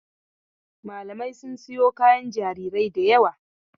Mamalai sun sayo kayan jarirai da yawa.